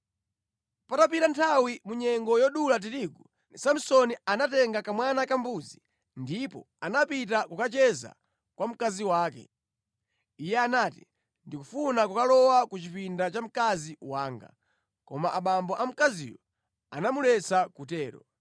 Patapita nthawi, mu nyengo yodula tirigu, Samsoni anatenga kamwana kambuzi ndipo anapita kukacheza kwa mkazi wake. Iye anati, “Ndikufuna kukalowa ku chipinda cha mkazi wanga.” Koma abambo a mkaziyo anamuletsa kutero.